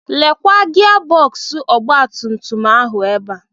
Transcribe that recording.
Lekwa gia bọksụ ọgbatumtum ahụ ebe a.